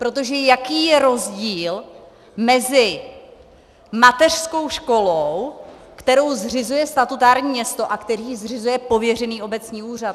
Protože jaký je rozdíl mezi mateřskou školou, kterou zřizuje statutární město, a kterou zřizuje pověřený obecní úřad?